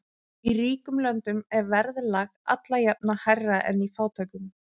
Í ríkum löndum er verðlag alla jafna hærra en í fátækum.